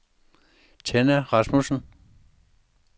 Tenna Rasmussen